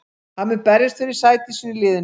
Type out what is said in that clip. Hann mun berjast fyrir sæti sínu í liðinu.